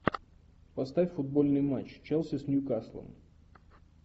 поставь футбольный матч челси с ньюкаслом